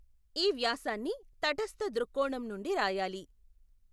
ఈ వ్యాసాన్ని తటస్థ దృక్కోణం నుండి రాయాలి.